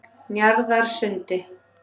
Njarðarsundi